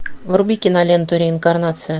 вруби киноленту реинкарнация